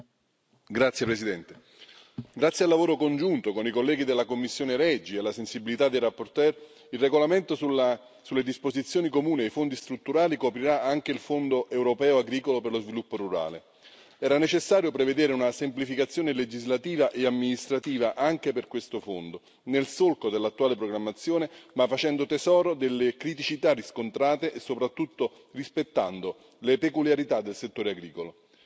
Signor Presidente, onorevoli colleghi, grazie al lavoro congiunto con i colleghi della commissione REGI e alla sensibilità dei relatori, il regolamento sulle disposizioni comuni ai fondi strutturali coprirà anche il Fondo europeo agricolo per lo sviluppo rurale. Era necessario prevedere una semplificazione legislativa e amministrativa anche per questo fondo, nel solco dell'attuale programmazione, ma facendo tesoro delle criticità riscontrate e soprattutto rispettando le peculiarità del settore agricolo.